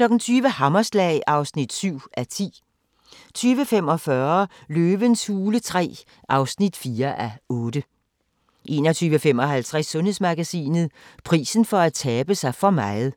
20:00: Hammerslag (7:10) 20:45: Løvens hule III (4:8) 21:55: Sundhedsmagasinet: Prisen for at tabe sig for meget